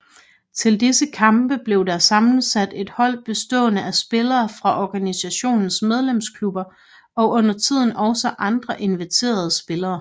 Til disse kampe blev der sammensat et hold bestående af spillere fra organisationens medlemsklubber og undertiden også andre inviterede spillere